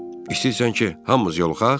İstəyirsən ki, hamımız yoluxaq?